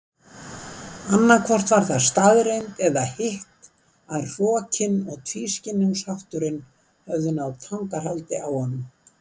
Annaðhvort var það staðreynd eða hitt að hrokinn og tvískinnungshátturinn höfðu náð tangarhaldi á honum.